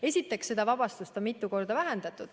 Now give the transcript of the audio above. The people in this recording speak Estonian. Esiteks, seda vabastust on mitu korda vähendatud.